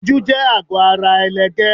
Ojú jẹ àgọ́ ara ẹlẹgẹ́.